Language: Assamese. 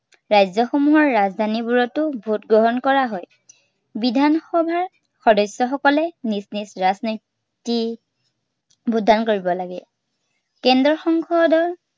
ৰাজ্য়সমূহৰ ৰাজধানীবোৰতো vote গ্ৰহণ কৰা হয়। বিধানসভাৰ, সদস্য়সকলে নিজ নিজ ৰাজনীতিৰ vote দান কৰিব লাগে। কেন্দ্ৰৰ সংসদৰ